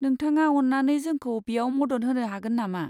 नोंथाङा अन्नानै जोंखौ बेयाव मदद होनो हागोन नामा?